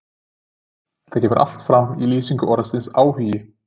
Þetta kemur allt fram í lýsingu orðsins áhugi